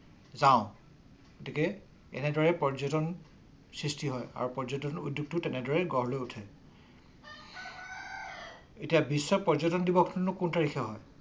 চাওঁ গতিকে এনেদৰে পৰ্যটন সৃষ্টি হয় আৰু পৰ্যটন উদ্যোগ তেনেদৰে গঢ়‌ লৈ উঠে। এতিয়া বিশ্ব পৰ্যটন ‌দিৱস নো কোন তাৰিখে হয়।